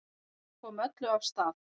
Það sem kom öllu af stað